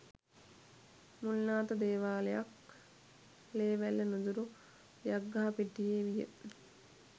මුල් නාථ දේවාලයක් ලේවැල්ල නුදුරු යක්ගහපිටියේ විය.